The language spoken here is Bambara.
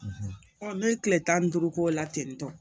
ne tile tan duuru k'o la ten tɔ